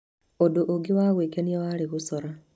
Ũndũ ũngĩ wa gwĩkenia warĩ gũcora.